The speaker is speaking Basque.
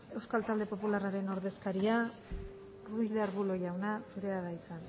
euskal talde popularraren ordezkaria ruiz de arbulo jauna zurea da hitza